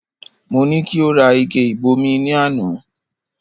Mo ní kí o rà ike ìbomi ní àná